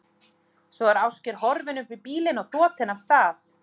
Svo er Ásgeir horfinn upp í bílinn og þotinn af stað.